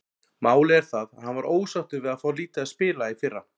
Málið er það að hann var ósáttur við að fá lítið að spila í fyrra.